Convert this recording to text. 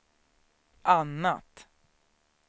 annat